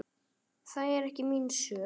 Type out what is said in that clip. Það er ekki mín sök.